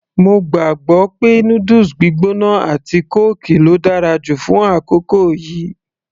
mo gbàgbọ́ pé noodles gbígbóná àti kóòkì ló dára jù fún àkókò yìí